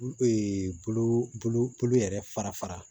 bolo yɛrɛ fara fara